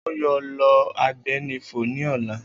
O yoo lo agbénifò ni ọla